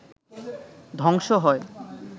ধ্বংস হয়